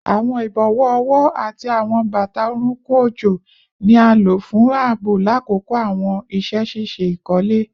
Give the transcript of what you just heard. Awọn ibọwọ ọwọ ati awọn bata orunkun ojo ni a lo fun aabo lakoko awọn iṣẹ ṣiṣe ikole